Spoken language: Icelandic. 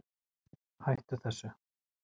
hættu þessu